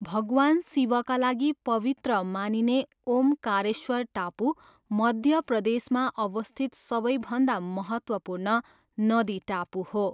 भगवान शिवका लागि पवित्र मानिने ओमकारेश्वर टापु, मध्य प्रदेशमा अवस्थित सबैभन्दा महत्त्वपूर्ण नदी टापु हो।